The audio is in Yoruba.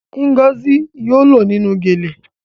Ngozi yóò lọ nínú gele